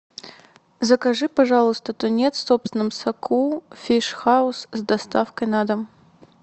закажи пожалуйста тунец в собственном соку фиш хаус с доставкой на дом